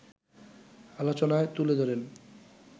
আলোচনায় তুলে ধরেন